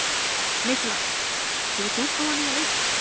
Nikolas, hefur þú prófað nýja leikinn?